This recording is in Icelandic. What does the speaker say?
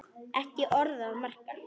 Ekki orð að marka.